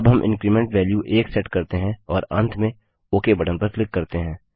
अब हम increment value 1सेट करते हैं और अंत में ओक बटन पर क्लिक करते हैं